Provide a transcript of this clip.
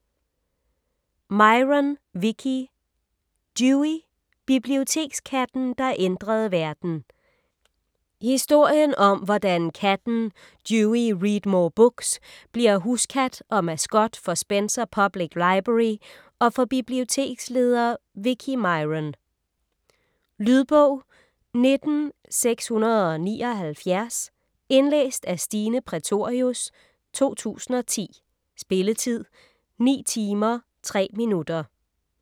Myron, Vicki: Dewey: bibliotekskatten, der ændrede verden Historien om hvordan katten Dewey Readmore Books bliver huskat og maskot for Spencer Public Library og for biblioteksleder Vicki Myron. Lydbog 19679 Indlæst af Stine Prætorius, 2010. Spilletid: 9 timer, 3 minutter.